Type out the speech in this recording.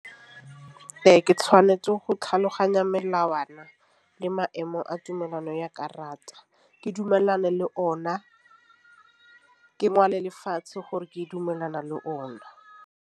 Ee, ke tšhwanetse go tlhaloganya melawana le maemo a tumelano ya karata. Ke dumelane le ona ke ngwale lefatshe gore ke dumelana le ona.